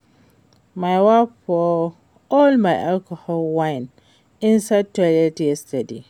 My wife pour all my alcoholic wine inside toilet yesterday